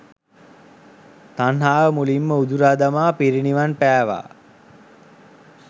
තණ්හාව මුලින්ම උදුරා දමා පිරිනිවන් පෑවා.